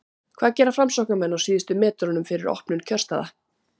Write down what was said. hvað gera framsóknarmenn á síðustu metrunum fyrir opnun kjörstaða?